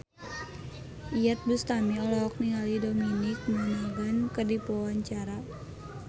Iyeth Bustami olohok ningali Dominic Monaghan keur diwawancara